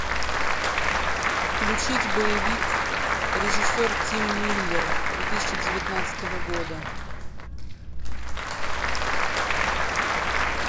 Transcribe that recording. включить боевик режиссер тим миллер две тысячи девятнадцатого года